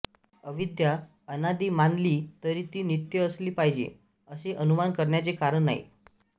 अविद्या अनादि मानली तरी ती नित्य असली पाहिजे असे अनुमान करण्याचे कारण नाही